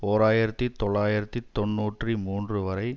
ஓர் ஆயிரத்தி தொள்ளாயிரத்தி தொன்னூற்றி மூன்று வரை